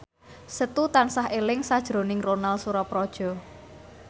Setu tansah eling sakjroning Ronal Surapradja